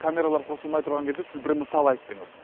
камералар қосылмай тұрған кезде сіз бір мысал айттыңыз